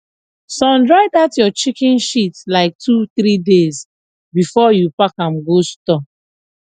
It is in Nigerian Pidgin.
sun dry that your chicken shit like two three days before you park am go store